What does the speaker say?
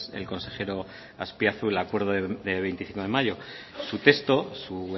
el consejero azpiazu el acuerdo de veinticinco de mayo su texto su